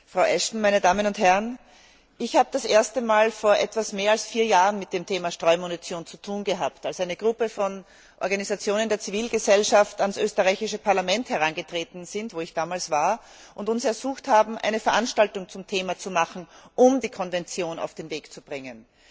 Frau Ashton, meine Damen und Herren! Ich habe vor etwas mehr als vier Jahren zum ersten Mal mit dem Thema Streumunition zu tun gehabt, als eine Gruppe von Organisationen der Zivilgesellschaft an das österreichische Parlament herangetreten ist, wo ich damals war, und uns ersucht hat, eine Veranstaltung zum Thema zu machen, um die Konvention auf den Weg zu bringen.